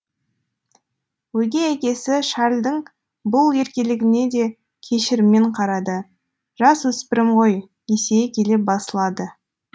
өгей әкесі шарльдің бұл еркелігіне де кешіріммен қарады жасөспірім ғой есейе келе басылады